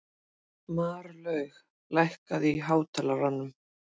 Marlaug, lækkaðu í hátalaranum.